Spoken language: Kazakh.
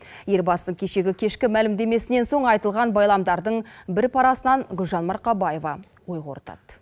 елбасының кешегі кешкі мәлімдемесінен соң айтылған байламдардың бір парасынан гүлжан марқабаева ой қорытады